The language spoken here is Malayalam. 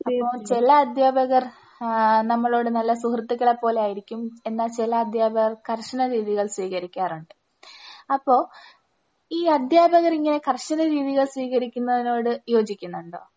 അപ്പോ ചില അധ്യാപകർ ആഹ് നമ്മളോട് നല്ല സുഹൃത്തുക്കളെ പോലെ ആയിരിക്കും എന്നാൽ ചില അധ്യാപകർ കർശന രീതികൾ സ്വീകരിക്കാറുണ്ട്. അപ്പോ ഈ അധ്യാപകർ ഇങ്ങനെ കർശന രീതികൾ സ്വീകരിക്കുന്നതിനോട് യോജിക്കുന്നുണ്ടോ?